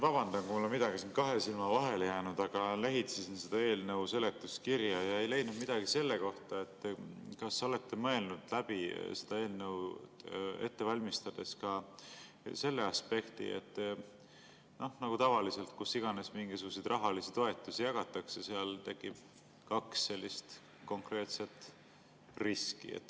Ma vabandan, kui mul on midagi kahe silma vahele jäänud, aga lehitsesin eelnõu seletuskirja ja ei leidnud midagi selle kohta, kas te olete mõelnud seda eelnõu ette valmistades läbi ka selle aspekti, et nagu tavaliselt, kus iganes mingisuguseid rahalisi toetusi jagatakse, tekib kaks konkreetset riski.